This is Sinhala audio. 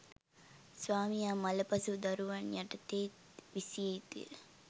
ස්වාමියා මළ පසු දරුවන් යටතේත් විසිය යුතුය.